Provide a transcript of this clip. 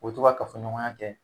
O be to ka kafɔ ɲɔgɔnya kɛ